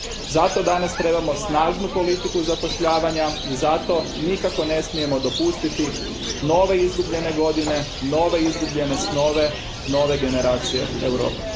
Zato danas trebamo snažnu politiku zapošljavanja i zato nikako ne smijemo dopustiti nove izgubljene godine, nove izgubljene snove nove generacije Europe.